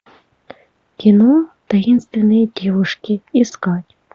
кино таинственные девушки искать